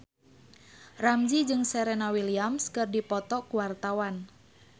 Ramzy jeung Serena Williams keur dipoto ku wartawan